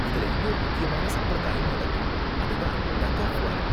இதுல இன்னொரு முக்கியமான சம்பிரதாயம் நடக்கும், அது தான் டக் ஆஃப் வார்.